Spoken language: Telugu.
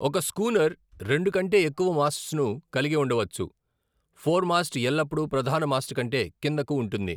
ఒక స్కూనర్ రెండు కంటే ఎక్కువ మాస్ట్స్ను కలిగి ఉండవచ్చు, ఫోర్మాస్ట్ ఎల్లప్పుడూ ప్రధానమాస్ట్ కంటే కిందకు ఉంటుంది.